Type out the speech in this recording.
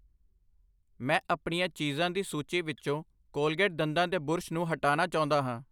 ਮੈਂ ਆਪਣੀਆਂ ਚੀਜ਼ਾਂ ਦੀ ਸੂਚੀ ਵਿੱਚੋ ਕੋਲਗੇਟ ਦੰਦਾਂ ਦੇ ਬੁਰਸ਼ ਨੂੰ ਹਟਾਨਾ ਚਾਹੁੰਦਾ ਹਾਂ I